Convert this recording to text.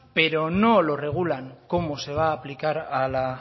pero no lo regulan cómo se va a aplicar a la